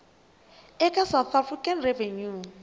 eka va south african revenue